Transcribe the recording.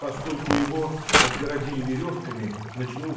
поскольку его отгородили верёвками натянув